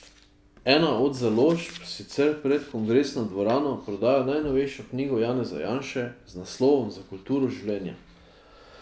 Ena od založb sicer pred kongresno dvorano prodaja najnovejšo knjigo Janeza Janše z naslovom Za kulturo življenja.